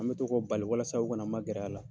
An bɛ to k'o bali walasa o kana magɛrɛ a la.